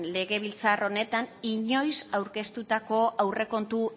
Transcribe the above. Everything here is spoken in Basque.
legebiltzar honetan inoiz aurkeztutako aurrekontu